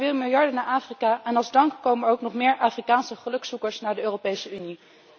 Er gaan weer miljarden naar Afrika en als dank komen er ook nog meer Afrikaanse gelukszoekers naar de Europese Unie.